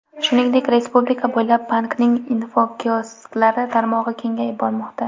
Shuningdek, respublika bo‘ylab bankning infokiosklari tarmog‘i kengayib bormoqda.